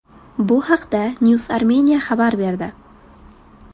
Bu haqda Newsarmenia xabar berdi .